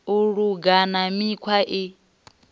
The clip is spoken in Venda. u luga na mikhwa i